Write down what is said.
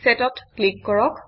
Set অত click কৰক